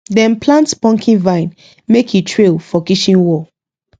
dem plant pumpkin vine make e trail for kitchen wall